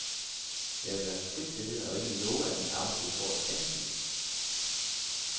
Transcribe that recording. Jeg vil være frit stillet og ikke love, at min arbejdsgiver får et eksamensbevis.